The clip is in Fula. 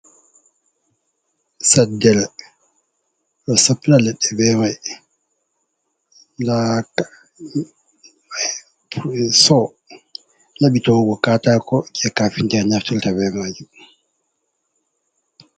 Saddere ɓe ɗo soppira leɗɗe be may, ndaa soo laɓi ta'ugo kaatako jey kafinta'en naftirta be maajum.